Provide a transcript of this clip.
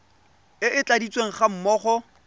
e e tladitsweng ga mmogo